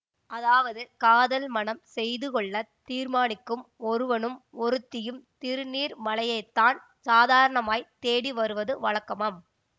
அதாவது காதல் மணம் செய்து கொள்ள தீர்மானிக்கும் ஒருவனும் ஒருத்தியும் திருநீர்மலையைத்தான் சாதாரணமாய்த் தேடி வருவது வழக்கமாம்